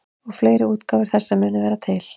Og fleiri útgáfur þessa munu vera til.